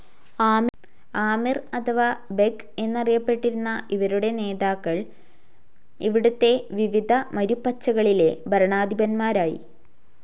ആമിർ അഥവാ ബെഗ്‌ എന്ന് അറിയപ്പെട്ടിരുന്ന ഇവരുടെ നേതാക്കൾ ഇവിടത്തെ വിവിധ മരുപ്പച്ചകളിലെ ഭരണാധിപന്മാരായി.